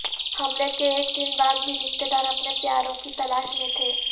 حملے کے ایک دن بعد بھی رشتہ دار اپنے پیاروں کی تلاش میں تھے